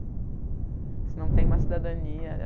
Você não tem uma cidadania.